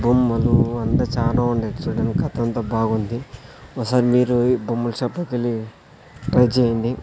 బొమ్మలు అంతా చానా ఉండాయ్ చూడ్డానికి కథంతా బాగుంది ఒసారి మీరు ఈ బొమ్మల షాప్ లో కెళ్ళి ట్రై చేయండి.